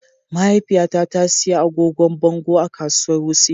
Mahaifiyata ta sayi agogon bango a kasuwar Wuse.